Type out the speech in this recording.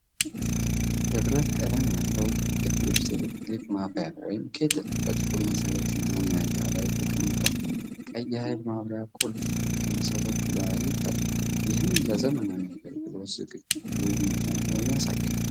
የብረት ቀለም ያለው የፊሊፕስ ኤሌክትሪክ ማፍያ (ኬትል)፣ በጥቁር መሠረትና መያዣ ላይ ተቀምጧል። ቀይ የኃይል ማብሪያ ቁልፍ ከመሠረቱ ላይ ይታያል፣ ይህም ለዘመናዊ አገልግሎት ዝግጁ መሆኑን ያሳያል።